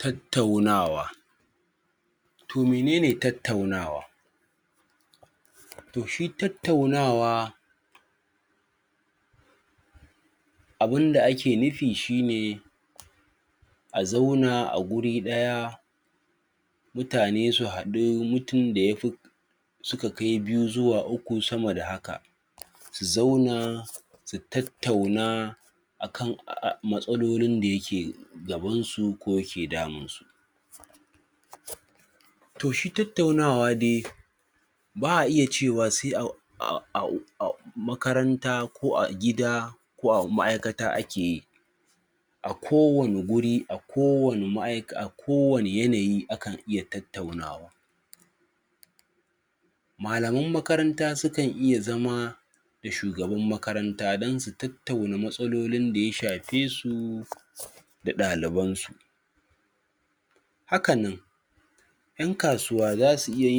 tattaunawa toh menene tattaunawa? toh shi tattaunawa abun da ake nufi shi ne a zauna a guri daya mutane su hadu mutum da ya fi suka kai biyu zuwa uku sama da haka zu zauna su tattauna a kan matsaloli da ya ke gaban su ko ke damun su toh shi tattaunawa dai ba'a iya cewa sai a makaranta ko a gida ko a ma'ikata ake yi a kowane guri a kowane ma'aika a kowane yanayi akan iya tattaunawa malaman makarannta su kan iya zama da shugaban makaranta dan su tattauna masalolin da ya shafe su da daliban su hakanan 'yan kasuwa za su iya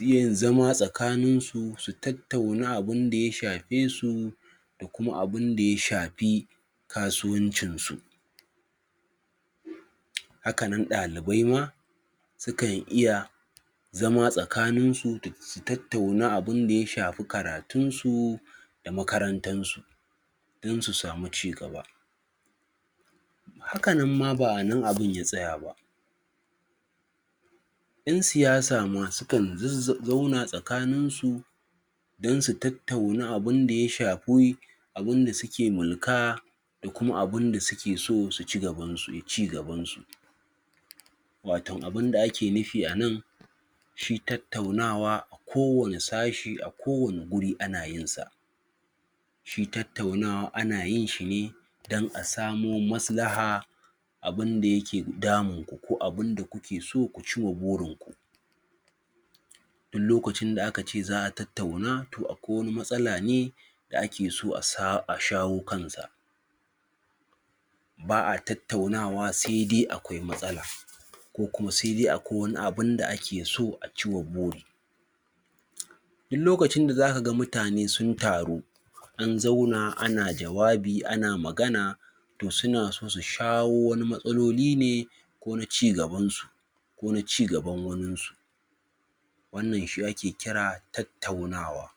yi zama tsakanin su, su tattauna abun da ya shafe su kuma abun da ya shafi kasuwancin su haka ma dalibai ma su kan iya zama tsakanin su tattauna abin da ya shafi karatun su da makarantan su dan su samu ci gaba haka nan ba a nan abun ya tsaya ba 'yan siyasa su kan zauna tsakanin su dan su tattauna abun da ya shafi abun da su ke mulka kuma abun da su ke so su yi ci gaban su watau abun da ake nufi a nan shi tattaunawa ko wane sashi a ko wane wuri a na yin sa shi tattaunawa ana yin shi ne dan a samo maslaha abun da ya ke damun ku ko abun da kuke soku ci wa burin ku duk lokacin da aka ce za'a tattauna toh akwai wani matsala ne da ake so a shawo kan sa ba'a tattaunawa sai dai akwai matsala ko kuma sai dai akwai wani abun da ake so a ci wa buri duk lokacin da za ka ga mutane sun taru an zauna ana jawabi ana magana toh suna so su shawo wani matsaloli ne ko na ci gaban su ko na ci gaban wanin su wannan shi ake kira tattaunawa